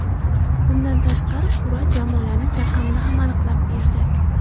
Bundan tashqari qur’a jamoalarning raqamini ham aniqlab berdi.